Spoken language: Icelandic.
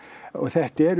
og þetta eru